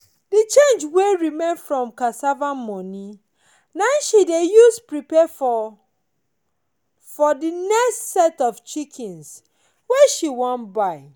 the change wey remain from the cassava moni na him she dey use prepare for for the next set of chickens wey she wan buy.